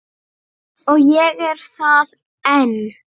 Og ég er það enn